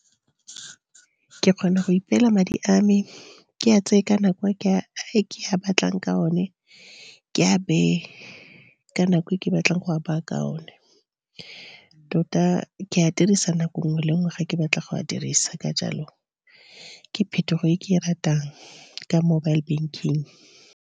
Ke kgona go ipela madi a me ke a tseye ka nako e ke a batlang ka o ne ke a bee, ka nako e ke batlang go a baa ka o one. Tota ke a dirisa nako nngwe le nngwe ga ke batla go a dirisa, ka jalo ke phetogo e ke e ratang ka mobile banking.